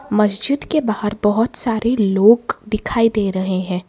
मस्जिद के बाहर बहुत सारे लोग दिखाई दे रहे हैं।